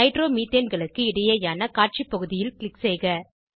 நைட்ரோமீத்தேன்களுக்கு இடையேயான காட்சி பகுதியில் க்ளிக் செய்க